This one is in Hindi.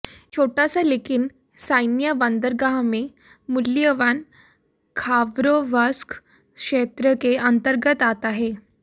एक छोटा सा लेकिन सैन्य बंदरगाह में मूल्यवान खाबरोवस्क क्षेत्र के अंतर्गत आता है